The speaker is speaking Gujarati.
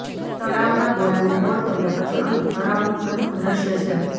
તળાવના ગોળાને ગોળ કર્યા પછી અહીં તળાવનું પ્રથમ દૃશ્ય છે